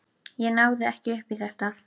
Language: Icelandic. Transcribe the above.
Ég náði ekki upp í þetta.